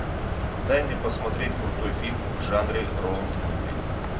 дай мне посмотреть крутой фильм в жанре роуд муви